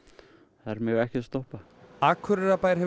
þær mega ekkert stoppa Akureyrarbær hefur